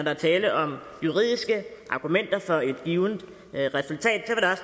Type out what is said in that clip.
er tale om juridiske argumenter for et givent resultat